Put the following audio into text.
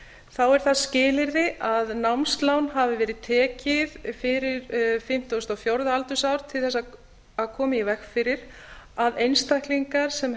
þá er það skilyrði að námslán hafi verið tekið fyrir fimmtíu og fjögurra ára aldur til þess að koma í veg fyrir að einstaklingar sem